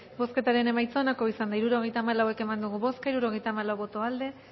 bozketaren emaitza onako izan da hirurogeita hamalau eman dugu bozka hirurogeita hamalau boto aldekoa